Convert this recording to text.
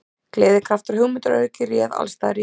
Gleði, kraftur og hugmyndaauðgi réð alls staðar ríkjum.